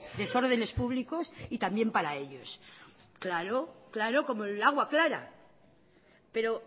desordenes públicos y también para ellos claro como el agua clara pero